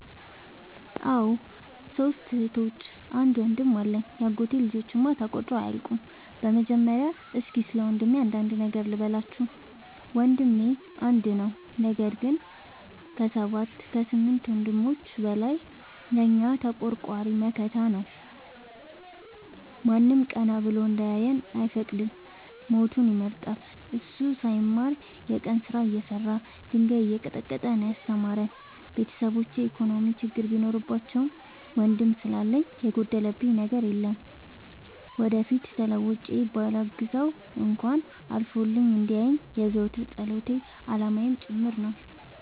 አዎ ሶስት እህቶች አንድ ወንድም አለኝ የአጎቴ ልጆች እማ ተቆጥረው አያልቁም። በመጀመሪያ እስኪ ስለወንድሜ አንዳንድ ነገር ልበላችሁ። ወንድሜ አንድ ነው ነገር ግን አሰባት ከስምንት ወንድሞች በላይ ለእኛ ተቆርቋሪ መከታ ነው። ማንም ቀና ብሎ እንዲያየን አይፈቅድም ሞቱን ይመርጣል። እሱ ሳይማር የቀን ስራ እየሰራ ድንጋይ እየቀጠቀጠ ነው። ያስተማረን ቤተሰቦቼ የኢኮኖሚ ችግር ቢኖርባቸውም ወንድም ስላለኝ የጎደለብኝ አንድም ነገር አልነበረም። ወደፊት ተለውጬ በላግዘው እንኳን አልፎልኝ እንዲየኝ የዘወትር ፀሎቴ አላማዬም ጭምር ነው።